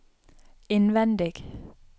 innvendig